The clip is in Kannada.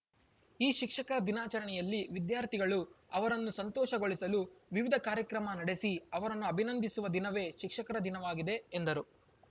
ಈ ಶಿಕ್ಷಕ ದಿನಾಚರಣೆಯಲ್ಲಿ ವಿದ್ಯಾರ್ಥಿಗಳು ಅವರನ್ನು ಸಂತೋಷಗೊಳಿಸಲು ವಿವಿಧ ಕಾರ್ಯಕ್ರಮ ನಡೆಸಿ ಅವರನ್ನು ಅಭಿನಂದಿಸುವ ದಿನವೇ ಶಿಕ್ಷಕರ ದಿನವಾಗಿದೆ ಎಂದರು